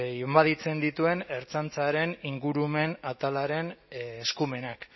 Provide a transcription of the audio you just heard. inbaditzen dituen ertzaintzaren ingurumen atalaren eskumenak